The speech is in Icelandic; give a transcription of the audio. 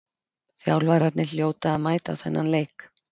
Þjálfararnir hljóta að mæta á þennan leik.